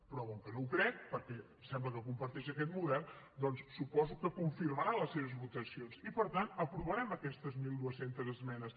però com que no ho crec perquè sembla que comparteix aquest model doncs suposo que confirmarà les seves votacions i per tant aprovarem aquestes mil dos cents esmenes